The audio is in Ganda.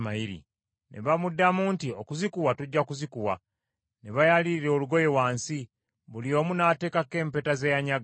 Ne bamuddamu nti, “Okuzikuwa tujja kuzikuwa.” Ne bayalirira olugoye wansi, buli omu n’ateekako empeta ze yanyaga.